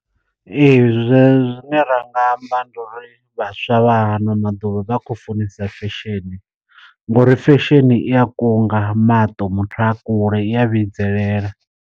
Ee zwe zwine ra nga amba ndi uri vhaswa vha hano maḓuvha vha khou funesa fesheni, ngori fesheni i a kunga maṱo muthu a kule i a vhidzelela.